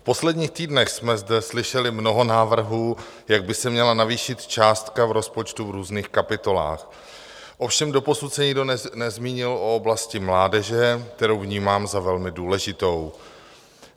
V posledních týdnech jsme zde slyšeli mnoho návrhů, jak by se měla navýšit částka v rozpočtu v různých kapitolách, ovšem doposud se nikdo nezmínil o oblasti mládeže, kterou vnímám za velmi důležitou.